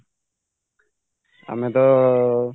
ଆମେତ